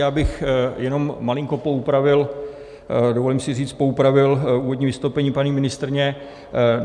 Já bych jenom malinko poupravil - dovolím si říct poupravil - úvodní vystoupení paní ministryně.